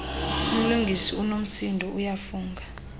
umlungisi unomsindo uyafunga